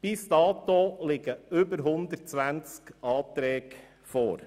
Bis dato liegen über 120 Anträge vor.